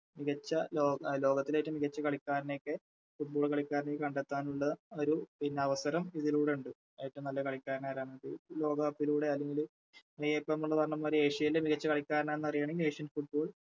മികച്ച ലോക ലോകത്തിലെറ്റോം മികച്ച കളിക്കാരെനെക്കെ Football കളിക്കാരെനോക്കെ കണ്ടെത്താനുള്ള ഒര് പിന്നവസരം ഇതിലൂടെയുണ്ട് ഏറ്റോം നല്ല കളിക്കാരനാരാന്നൊക്കെ ലോകകപ്പിലൂടെയാണെങ്കില് ഏഷ്യയിലെ മികച്ച കളിക്കാരനാന്നറിയണമെങ്കിൽ Asian football